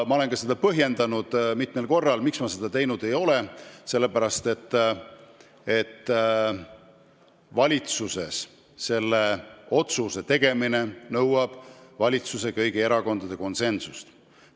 Ma olen mitu korda põhjendanud, miks ma seda teinud ei ole: sellepärast, et valitsuses selle otsuse tegemine nõuab kõigi valitsuserakondade konsensust.